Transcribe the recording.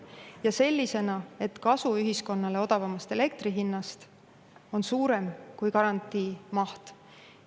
sellisena, et kasu ühiskonnale odavamast elektri hinnast on suurem kui garantii maht.